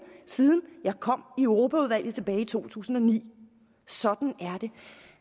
siden jeg kom i europaudvalget tilbage i to tusind og ni sådan er det